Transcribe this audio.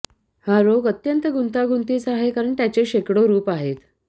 हा रोग अत्यंत गुंतागुंतीचा आहे कारण त्याच्या शेकडो रूप आहेत